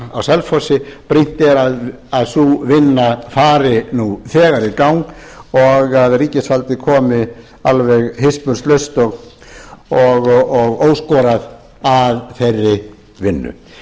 á selfossi brýnt er að sú vinna fari nú þegar í gang og að ríkisvaldið komi alveg hispurslaust og óskorað að þeirri vinnu frú